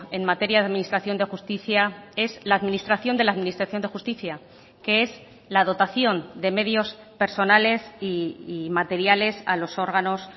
en materia de administración de justicia es la administración de la administración de justicia que es la dotación de medios personales y materiales a los órganos